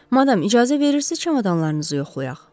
Madam, icazə verirsiz çamadanlarınızı yoxlayaq?